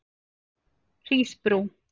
Hrísbrú